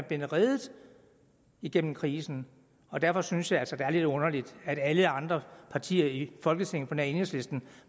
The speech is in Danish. blevet reddet igennem krisen og derfor synes jeg altså det er lidt underligt at alle andre partier i folketinget på nær enhedslisten